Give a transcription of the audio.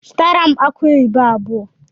Zụtara m akụ oyibo abụọ!!